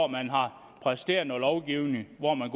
man har præsteret noget lovgivning hvor man